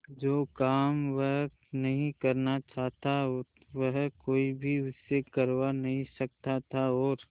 जो काम वह नहीं करना चाहता वह कोई भी उससे करवा नहीं सकता था और